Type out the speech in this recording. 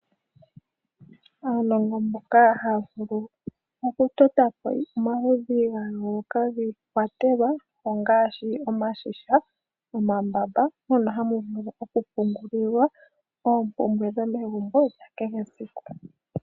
Aanongo mbono haa vulu oku totapo omaludhi giikwatelwa ongaashi iigandhi, nosho woo omambamba mono hamu vulu oku kwa